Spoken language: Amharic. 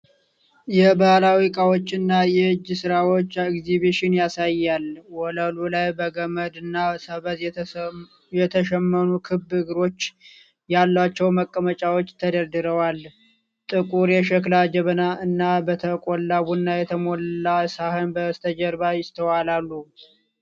የባህላዊ እቃዎችንና የእጅ ሥራዎች ኤግዚቢሽን ያሳያል። ወለሉ ላይ በገመድ እና ሰበዝ የተሸመኑ ክብ እግሮች ያሏቸው መቀመጫዎች ተደርድረዋል። ጥቁር የሸክላ ጀበና እና በተቆላ ቡና የተሞላ ሳህን በስተጀርባ ይስተዋላሉ።